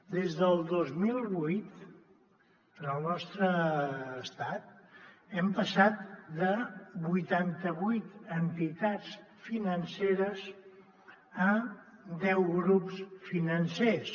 des del dos mil vuit en el nostre estat hem passat de vuitanta vuit entitats financeres a deu grups financers